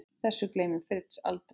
Þessu gleymir Fritz aldrei.